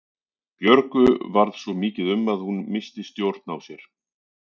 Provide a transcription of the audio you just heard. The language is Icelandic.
Björgu varð svo mikið um að hún missti stjórn á sér.